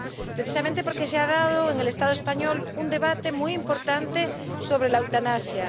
Precisamente porque se ha dado en el Estado español un debate muy importante sobre la eutanasia.